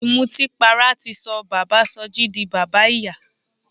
Ìmọtínpara ti sọ bàbáa Sọjí di bàbá ìyà.